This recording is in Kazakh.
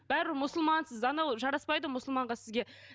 бәрібір мұсылмансыз анау жараспайды ғой мұсылманға сізге